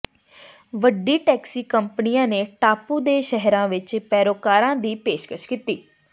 ਵੱਡੀ ਟੈਕਸੀ ਕੰਪਨੀਆਂ ਨੇ ਟਾਪੂ ਦੇ ਸ਼ਹਿਰਾਂ ਵਿੱਚ ਪੈਰੋਕਾਰਾਂ ਦੀ ਪੇਸ਼ਕਸ਼ ਕੀਤੀ